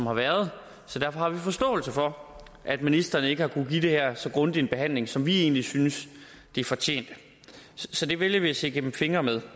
har været så derfor har vi forståelse for at ministeren ikke har kunnet give det her så grundig en behandling som vi egentlig syntes det fortjente så det vælger vi at se gennem fingre med